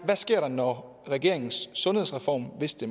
der sker når regeringens sundhedsreform hvis det